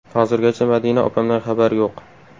Hozirgacha Madina opamdan xabar yo‘q.